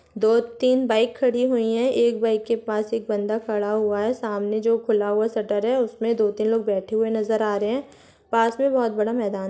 दो तीन बाइक खड़ी हुई है एक बाइक के पास एक बंदा खड़ा हुआ है सामने जो खुला हुआ शटर है उसमे दो तीन लोग बैठे हुए नजर आ रहे है पास में बहुत बड़ा मैदान--